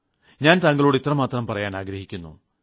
ഞാൻ താങ്കളോട് ഇത്രമാത്രം പറയാൻ ആഗ്രഹിക്കുന്നു